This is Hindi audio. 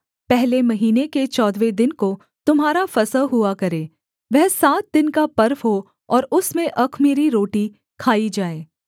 पहले महीने के चौदहवें दिन को तुम्हारा फसह हुआ करे वह सात दिन का पर्व हो और उसमें अख़मीरी रोटी खाई जाए